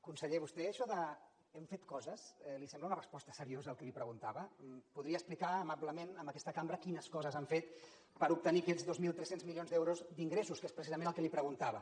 conseller a vostè això d’ hem fet coses li sembla una resposta seriosa al que li preguntava podria explicar amablement a aquesta cambra quines coses han fet per obtenir aquests dos mil tres cents milions d’euros d’ingressos que és precisament el que li preguntava